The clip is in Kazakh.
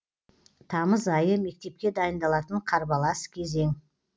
тамыз айы мектепке дайындалатын қарбалас кезең